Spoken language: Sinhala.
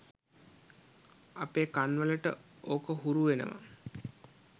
අපේ කන් වලට ඕක හුරු වෙනව